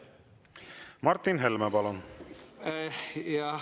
Martin Helme, palun!